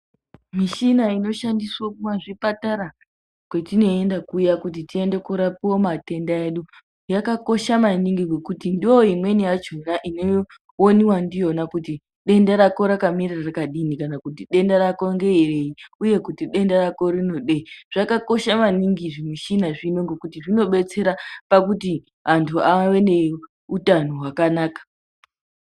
Mishina inoshandiswa kumazvipatara kuya kwetinoenda kuya kuti tinorapiwa matenda edu yakakosha maningi ngekuti ndiyona imweni yacho inowoniwa ndiyo kuti denda rako rakamire rakadini kana kuti denda rako ngerei uye kuti denda ngerei rako rinodei. Zvakakosha maningi zvimushina zvino ngekuti zvinodetsera pakuti antu ave neutano hwakanaka.